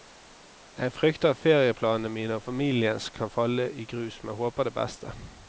Jeg frykter at ferieplanene mine og familiens kan falle i grus, men håper det beste.